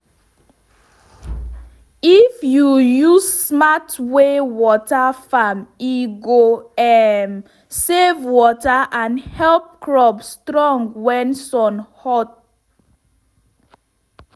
if you use smart way water farm e go um save water and help crop strong when sun hot.